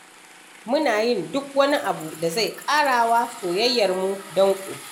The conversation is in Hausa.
Muna yin duk wani abu da zai ƙara wa soyayyarmu danƙo.